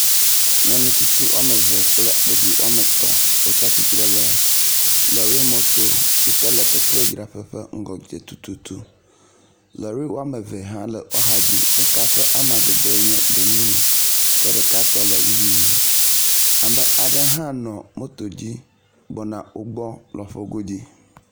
Nyɔnu tsitsi woame eve kple ɖevi woame etɔ̃ wotsi atsitre ɖe lɔrimɔto yi ke le petrodzraƒe ƒe ŋgɔdze tututu. Lɔri wɔme eve hã le woƒe axadzi. Ɖeka ƒe amadede nye gbemumu ke ɖeka tɔ le ʋie. Ame aɖe hã tɔ nɔ moto dzi gbɔna wo gbɔ lɔƒo godzi.